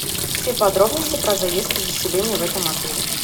все подробности про заезд и заселение в этом отеле